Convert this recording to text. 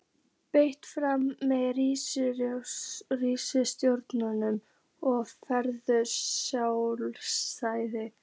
Berist fram með hrísgrjónum og fallegu salati.